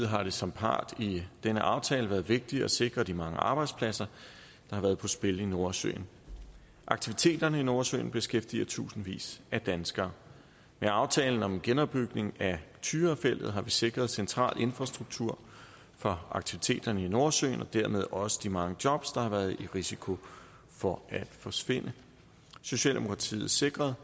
har det som part i denne aftale været vigtigt at sikre de mange arbejdspladser der har været på spil i nordsøen aktiviteterne i nordsøen beskæftiger tusindvis af danskere med aftalen om en genopbygning af tyrafeltet har vi sikret en central infrastruktur fra aktiviteterne i nordsøen og dermed også de mange jobs der har været i risiko for at forsvinde socialdemokratiet sikrede